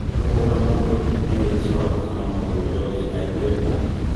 Kũhũra mũndũ nĩ wĩkĩĩ wa gũtũma mũndũ ũria ũngĩ aigue ruo